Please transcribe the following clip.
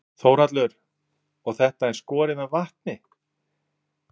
Þórhallur: Og þetta er skorið með vatni?